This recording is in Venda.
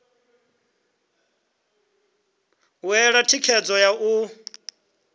u ṋea thikhedzo ya u